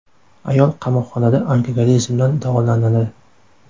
Ayol qamoqxonada alkogolizmdan davolanadi.